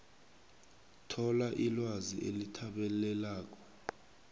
thola ilwazi elithabaleleko